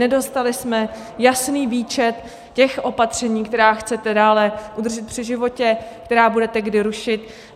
Nedostali jsme jasný výčet těch opatření, která chcete dále udržet při životě, která budete kdy rušit.